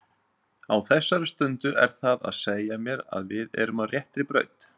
Á þessari stundu er það að segja mér að við erum á réttri braut.